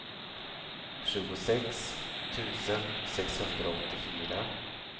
tjugosex tusen sexhundraåttiofyra